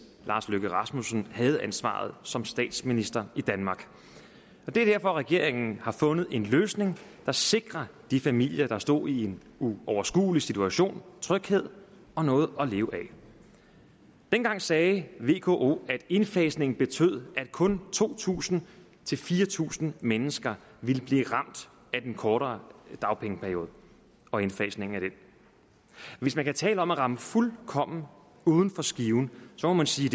lars løkke rasmussen havde ansvaret som statsminister i danmark det er derfor regeringen har fundet en løsning der sikrer de familier der stod i en uoverskuelig situation tryghed og noget at leve af dengang sagde vko at indfasningen betød at kun to tusind fire tusind mennesker ville blive ramt af den kortere dagpengeperiode og indfasningen af den hvis man kan tale om at ramme fuldkommen uden for skiven må man sige